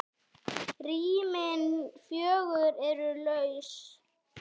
Rýmin fjögur eru laus.